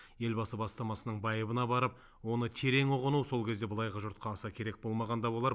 елбасы бастамасының байыбына барып оны терең ұғыну сол кезде былайғы жұртқа аса керек болмаған да болар